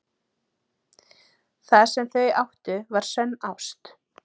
Það sem þau áttu var sönn ást.